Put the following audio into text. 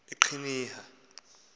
eqhinirha